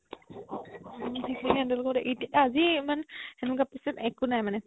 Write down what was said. সিখিনি handle কৰি আজি ইমান সেনেকুৱা patient একো নাই মানে